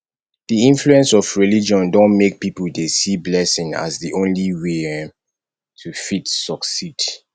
di influence of religion don make pipo dey see blessing as di only way um to fit succeed